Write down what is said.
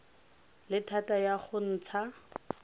le thata ya go ntsha